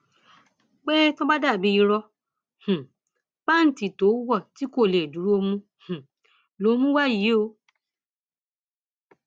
pé tó bá jọ bíi ìró um pàǹtí tó wọ tí kò lè dúró mú um lòún mú wá yìí o o